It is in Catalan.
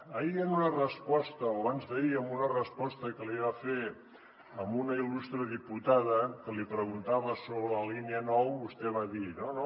ahir en una resposta o abans d’ahir que li va fer a una il·lustre diputada que li preguntava sobre la línia nou vostè va dir no no